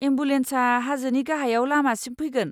एमबुलेन्सआ हाजोनि गाहायाव लामासिम फैगोन।